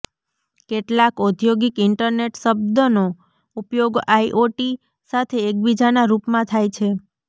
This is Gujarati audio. કેટલાક ઔદ્યોગિક ઈન્ટરનેટ શબ્દનો ઉપયોગ આઇઓટી સાથે એકબીજાના રૂપમાં થાય છે